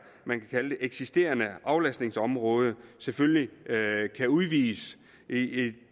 eksisterende aflastningsområde selvfølgelig kan udvides i det